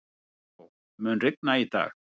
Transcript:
Kató, mun rigna í dag?